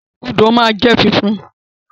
Odò ma jẹ fúnfún.